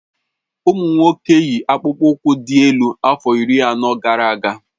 Ụmụ nwoke yi akpụkpọ ụkwụ dị́ elu afọ iri anọ gara aga